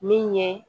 Min ye